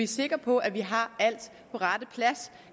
sikre på at vi har alt på rette plads